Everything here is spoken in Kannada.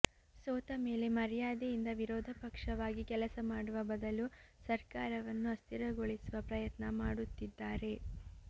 ಸೋತಮೇಲೆ ಮರ್ಯಾದೆಯಿಂದ ವಿರೋಧಪಕ್ಷವಾಗಿ ಕೆಲಸ ಮಾಡುವ ಬದಲು ಸರ್ಕಾರವನ್ನು ಅಸ್ಥಿರಗೊಳಿಸುವ ಪ್ರಯತ್ನ ಮಾಡುತ್ತಿದ್ದಾರೆ